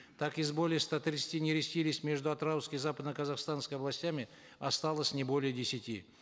так из более ста тридцати нерестилищ между атырауской и западно казахстанской областями осталось не более десяти